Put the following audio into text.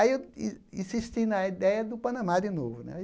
Aí eu in insisti na ideia do Panamá de novo né.